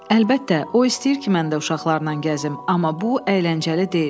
Əlbəttə, o istəyir ki, mən də uşaqlarla gəzim, amma bu əyləncəli deyil.